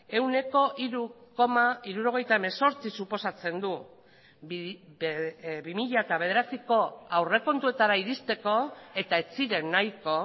ehuneko hiru koma hirurogeita hemezortzi suposatzen du bi mila bederatziko aurrekontuetara iristeko eta ez ziren nahiko